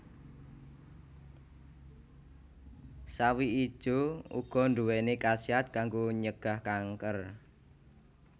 Sawi ijo uga nduwéni khasiat kanggo nyegah kanker